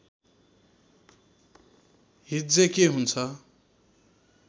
हिज्जे के हुन्छ